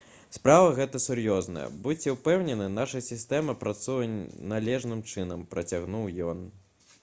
«справа гэта сур'ёзная. будзьце ўпэўнены наша сістэма працуе належным чынам» — працягнуў ён